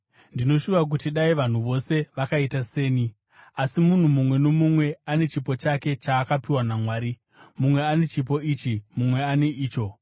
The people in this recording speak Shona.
Ndinoshuva kuti dai vanhu vose vakaita seni. Asi munhu mumwe nomumwe ane chipo chake chaakapiwa naMwari; mumwe ane chipo ichi mumwe ane icho.